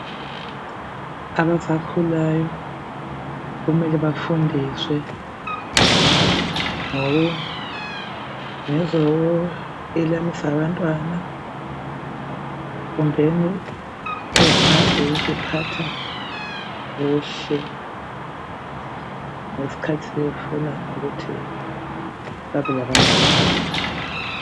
Abasakhulayo kumele bafundiswe ngezokwelamisa abantwana kumbe ukuziphatha kuhle ngesikhathi sebefuna ukuthi babe labantwana.